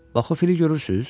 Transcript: Bax, o fili görürsüz?”